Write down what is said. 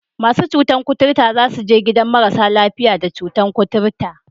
Masu cutar kuturta za su je gidan marasa lafiya da cutar kuturta